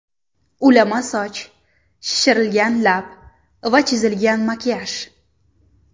Ulama soch, shishirilgan lab va chizilgan makiyaj.